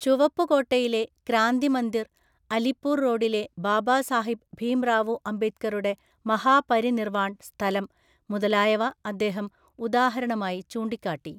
ചുവപ്പ്കോട്ടയിലെ ക്രാന്തിമന്ദിര്‍, അലിപ്പൂര്‍ റോഡിലെ ബാബാസാഹിബ് ഭീംറാവുഅംബേദ്ക്കറുടെ മഹാപരിനിര്‍വാണ്‍ സ്ഥലം മുതലായവ അദ്ദേഹം ഉദാഹരണമായി ചൂണ്ടിക്കാട്ടി.